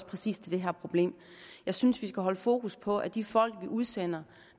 præcis til det her problem og jeg synes vi skal holde fokus på at de folk vi udsender